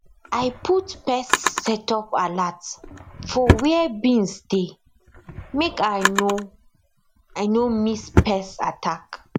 i put pest setup alert for where beans dey make i no i no miss pest attack